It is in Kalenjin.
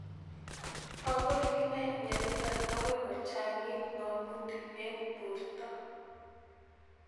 Makoi kinai miondo nitok akoi kochang'it ng'amutik eng' porto